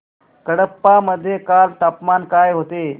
कडप्पा मध्ये काल तापमान काय होते